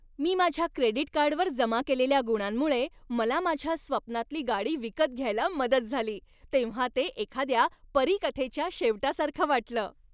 मी माझ्या क्रेडिट कार्डवर जमा केलेल्या गुणांमुळं मला माझ्या स्वप्नांतली गाडी विकत घ्यायला मदत झाली तेव्हा ते एखाद्या परीकथेच्या शेवटासारखं वाटलं.